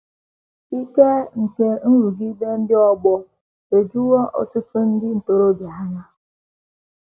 Ike nke nrụgide ndị ọgbọ ejuwo ọtụtụ ndị ntorobịa anya.